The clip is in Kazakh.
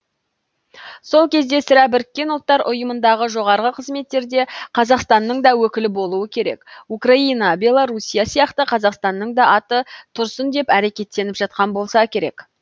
сол кезде сірә бірікке ұлттар ұйымындағы жоғарғы қызметтерде қазақстанның да өкілі болуы керек украина белоруссия сияқты қазақстанның да аты тұрсын деп әрекеттеніп жатқан болса керек